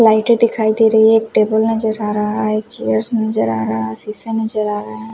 लाइटे दिखाई दे रही है एक टेबल नजर आ रहा है एक चेयर्स नजर आ रहा है शिशा नजर आ रहा है।